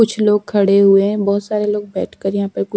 कुछ लोग खड़े हुए है बहोत सारे लोग बैठकर यहाँ पे कुछ--